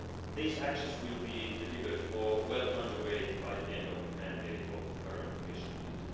These actions will be delivered or well under way by the end of the mandate of the current Commission in